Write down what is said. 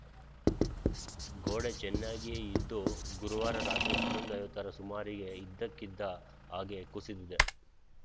ಗೋಡೆ ಚೆನ್ನಾಗಿಯೇ ಇದ್ದು ಗುರುವಾರ ರಾತ್ರಿ ಹನ್ನೊಂದು ಐವತ್ತರ ಸುಮಾರಿಗೆ ಇದ್ದಕ್ಕಿದ್ದ ಹಾಗೇ ಕುಸಿದಿದೆ